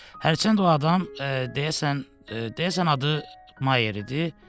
Hərçənd o adam, deyəsən, deyəsən adı Mayer idi.